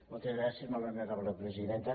moltes gràcies molt honorable presidenta